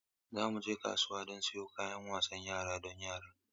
Za mu je kasuwa don siyan kayan wasan yara don yaran.